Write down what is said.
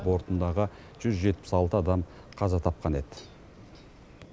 бортындағы жүз жетпіс алты адам қаза тапқан еді